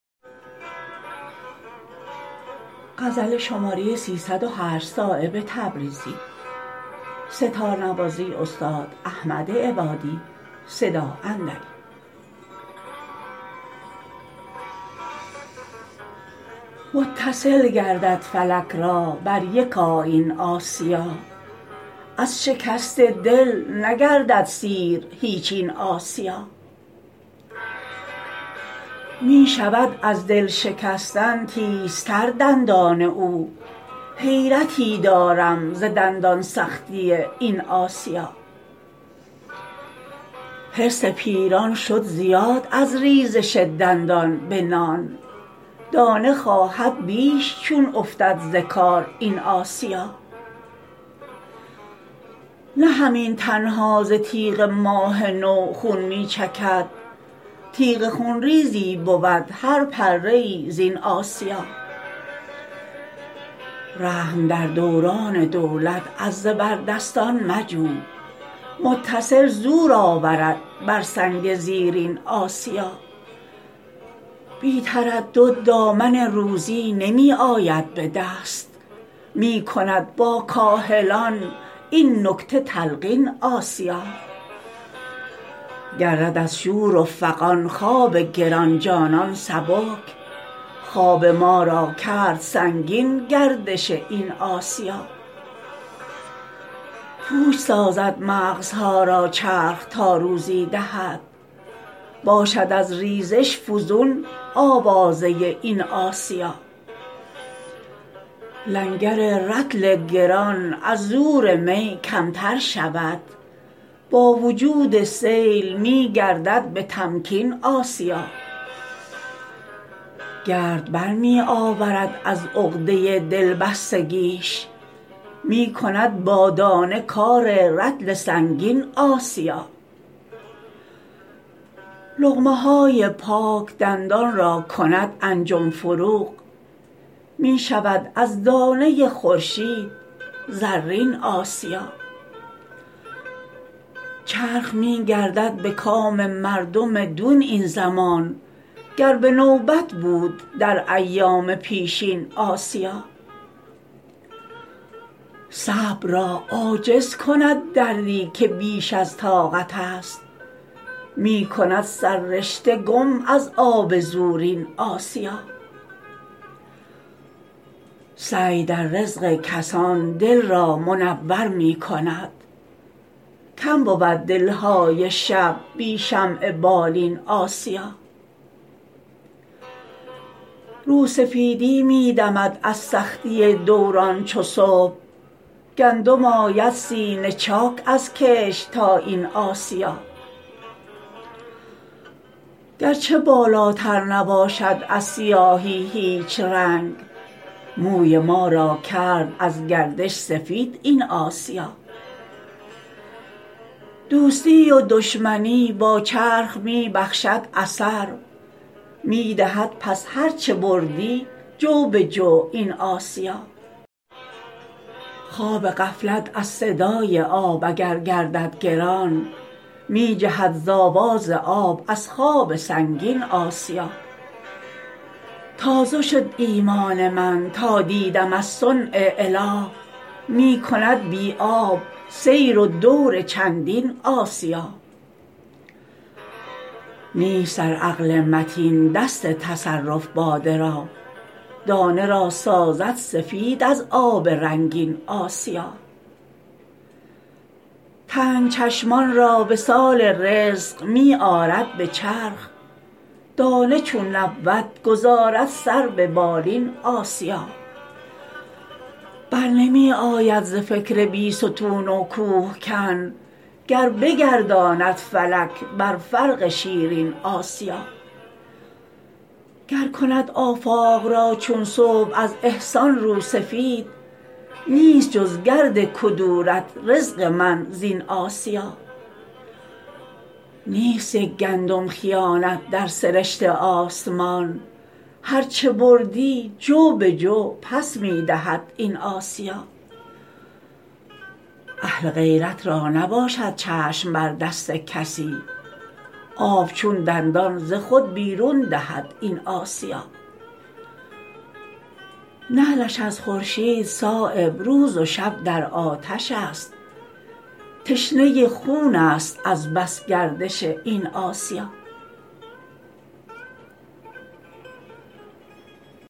متصل گردد فلک را بر یک آیین آسیا از شکست دل نگردد سیر هیچ این آسیا می شود از دل شکستن تیزتر دندان او حیرتی دارم ز دندان سختی این آسیا حرص پیران شد زیاد از ریزش دندان به نان دانه خواهد بیش چون افتد ز کار این آسیا نه همین تنها ز تیغ ماه نو خون می چکد تیغ خونریزی بود هر پره ای زین آسیا رحم در دوران دولت از زبردستان مجو متصل زور آورد بر سنگ زیرین آسیا بی تردد دامن روزی نمی آید به دست می کند با کاهلان این نکته تلقین آسیا گردد از شور و فغان خواب گرانجانان سبک خواب ما را کرد سنگین گردش این آسیا پوچ سازد مغزها را چرخ تا روزی دهد باشد از ریزش فزون آوازه این آسیا لنگر رطل گران از زور می کمتر شود با وجود سیل می گردد به تمکین آسیا گرد بر می آورد از عقده دلبستگیش می کند با دانه کار رطل سنگین آسیا لقمه های پاک دندان را کند انجم فروغ می شود از دانه خورشید زرین آسیا چرخ می گردد به کام مردم دون این زمان گر به نوبت بود در ایام پیشین آسیا صبر را عاجز کند دردی که بیش از طاقت است می کند سررشته گم از آب زورین آسیا سعی در رزق کسان دل را منور می کند کم بود دلهای شب بی شمع بالین آسیا رو سفیدی می دمد از سختی دوران چو صبح گندم آید سینه چاک از کشت تا این آسیا گرچه بالاتر نباشد از سیاهی هیچ رنگ موی ما را کرد از گردش سفید این آسیا دوستی و دشمنی با چرخ می بخشد اثر می دهد پس هر چه بردی جو به جو این آسیا خواب غفلت از صدای آب اگر گردد گران می جهد ز آواز آب از خواب سنگین آسیا تازه شد ایمان من تا دیدم از صنع اله می کند بی آب سیر و دور چندین آسیا نیست در عقل متین دست تصرف باده را دانه را سازد سفید از آب رنگین آسیا تنگ چشمان را وصال رزق می آرد به چرخ دانه چون نبود گذارد سر به بالین آسیا برنمی آید ز فکر بیستون و کوهکن گر بگرداند فلک بر فرق شیرین آسیا گر کند آفاق را چون صبح از احسان رو سفید نیست جز گرد کدورت رزق من زین آسیا نیست یک گندم خیانت در سرشت آسمان هر چه بردی جو به جو پس می دهد این آسیا اهل غیرت را نباشد چشم بر دست کسی آب چون دندان ز خود بیرون دهد این آسیا نعلش از خورشید صایب روز و شب در آتش است تشنه خون است از بس گردش این آسیا